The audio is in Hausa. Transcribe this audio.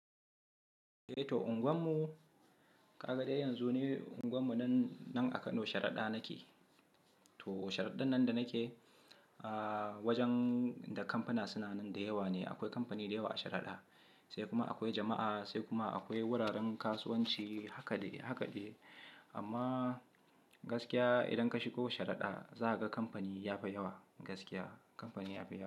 Eh to unguwar mu, ka ga dai yanzu ni unguwar mu nan, nan a Kano Sharada nake. To Sharada nan da nake, ah wajen da kamfuna suna nan da yawa ne. Akwai kamfani da yawa a Sharada, sai kuma akwai jama'a, sai kuma akwai wuraren kasuwanci haka dai haka dai. Amma gaskiya idan ka shigo Sharada, za ka ga kampani ya fi yawa gaskiya, kamfani ya fi yawa.